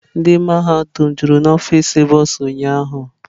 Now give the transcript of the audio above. Ndị mmadụ jụrụ n'ọfịs bụsa ụnyahụ.